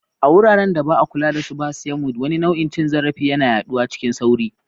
A wuraren da ba a kula da su ba, Siam weed, wani nau'in cin zarafi, yana yaduwa cikin sauri.